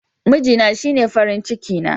Mijina shine farin ciki na.